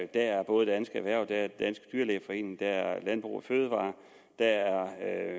der er både dansk erhverv den danske dyrlægeforening landbrug fødevarer